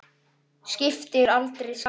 Skiptir aldrei skapi.